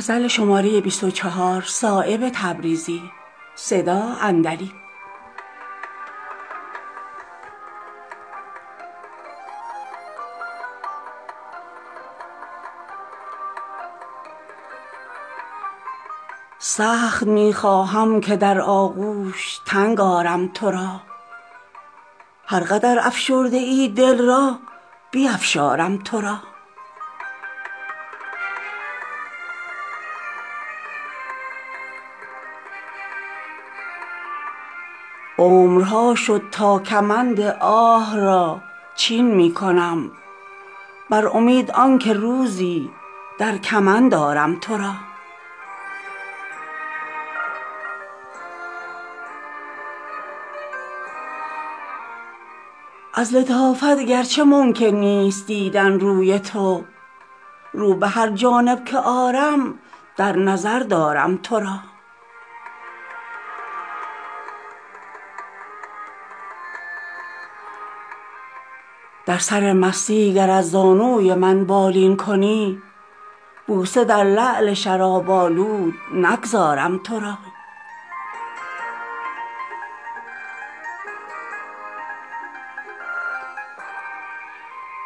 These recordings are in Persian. سخت می خواهم که در آغوش تنگ آرم تو را هر قدر افشرده ای دل را بیفشارم تو را عمرها شد تا کمند آه را چین می کنم بر امید آن که روزی در کمند آرم تو را از لطافت گر چه ممکن نیست دیدن روی تو رو به هر جانب که آرم در نظر دارم تو را در سر مستی گر از زانوی من بالین کنی بوسه در لعل شراب آلود نگذارم تو را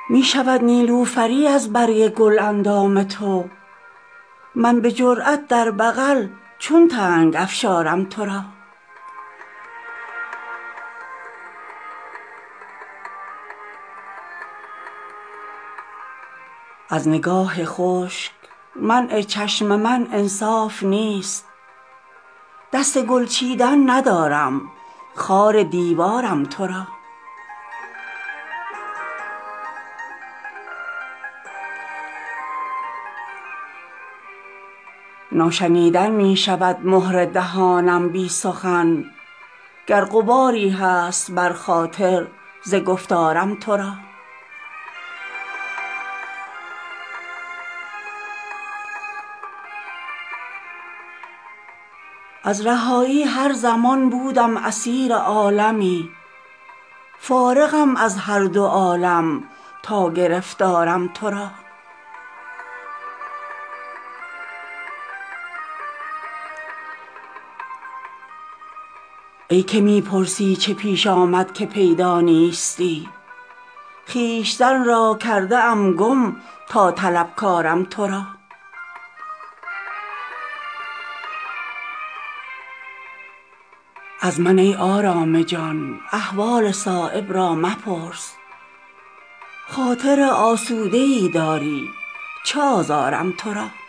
می شود نیلوفری از برگ گل اندام تو من به جرأت در بغل چون تنگ افشارم تو را از نگاه خشک منع چشم من انصاف نیست دست گل چیدن ندارم خار دیوارم تو را ناشنیدن می شود مهر دهانم بی سخن گر غباری هست بر خاطر ز گفتارم تو را از رهایی هر زمان بودم اسیر عالمی فارغم از هر دو عالم تا گرفتارم تو را ای که می پرسی چه پیش آمد که پیدا نیستی خویشتن را کرده ام گم تا طلبکارم تو را از من ای آرام جان احوال صایب را مپرس خاطر آسوده ای داری چه آزارم تو را